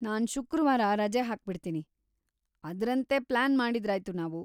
ನಾನ್‌ ಶುಕ್ರವಾರ ರಜೆ ಹಾಕ್ಬಿಡ್ತೀನಿ, ಅದ್ರಂತೆ ಪ್ಲಾನ್ ಮಾಡಿದ್ರಾಯ್ತು ನಾವು.